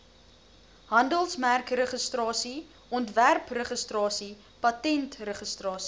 handelsmerkregistrasie ontwerpregistrasie patentregistrasie